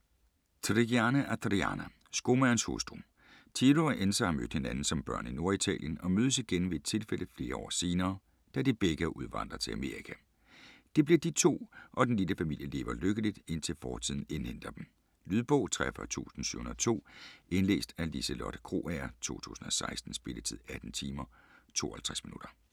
Trigiani, Adriana: Skomagerens hustru Ciro og Enza har mødt hinanden som børn i Norditalien og mødes igen ved et tilfælde flere år senere, da de begge er udvandret til Amerika. Det bliver de to, og den lille familie lever lykkeligt, indtil fortiden indhenter dem. Lydbog 43702 Indlæst af Liselotte Krogager, 2016. Spilletid: 18 timer, 52 minutter.